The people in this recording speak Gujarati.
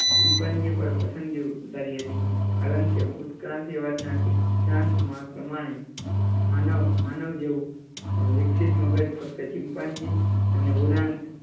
ચિંપાંજી પર પસંદગી ઉતારી હતી કારણ કે ઉત્ક્રાંતિ વાદ ના સિદ્ધાંત ના પ્રમાણે માનવ, માનવ જેવુ વિકસિત મગજ ફક્ત ચિંપાંજી અને ઉરાન્ત